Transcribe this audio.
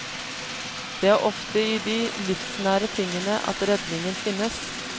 Det er ofte i de livsnære tingene at redningen finnes.